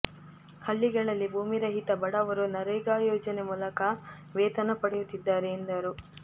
ಹಳ್ಳಿಗಳಲ್ಲಿ ಭೂಮಿ ರಹಿತ ಬಡವರು ನರೇಗಾ ಯೋಜನೆ ಮೂಲಕ ವೇತನ ಪಡೆಯುತ್ತಿದ್ದಾರೆ ಎಂದರು